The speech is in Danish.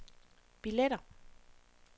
billetter